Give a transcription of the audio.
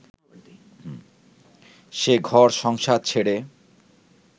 সে ঘর-সংসার ছেড়ে